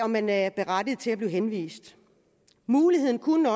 man er berettiget til at blive henvist muligheden kunne